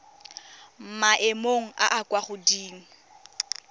maemong a a kwa godimo